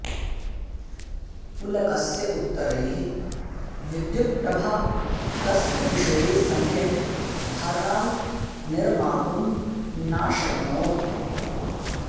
पुलकस्य उत्तरैः विद्युत्प्रभा तस्य विषये सम्यग् धारणां निर्मातुं नाशक्नोत्